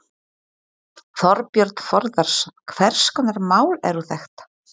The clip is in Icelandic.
Þorbjörn Þórðarson: Hvers konar mál eru þetta?